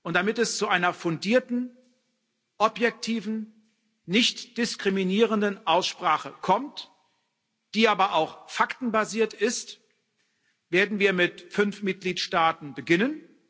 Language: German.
Damit es zu einer fundierten, objektiven, nichtdiskriminierenden Aussprache kommt, die aber auch faktenbasiert ist, werden wir mit fünf Mitgliedstaaten beginnen.